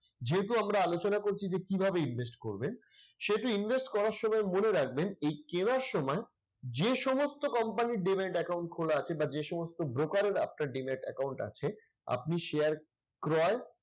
যেহেতু আমরা আলোচনা করছি যে কিভাবে invest করবেন সেহেতু invest করার সময় মনে রাখবেন এই কেনার সময় যে সমস্ত company র demat account খোলা আছে বা যে সমস্ত broker এর আপনার demat account আছে আপনি share ক্রয়